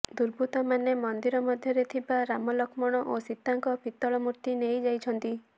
ଦୁର୍ବୃତ୍ତମାନେ ମନ୍ଦିର ମଧ୍ୟରେ ଥିବା ରାମ ଲକ୍ଷ୍ମଣ ଓ ସୀତାଙ୍କ ପିତଳ ମୂର୍ତ୍ତି ନେଇଯାଇଛନ୍ତି